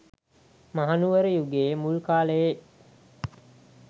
මහනුවර යුගයේ මුල් කාලයේ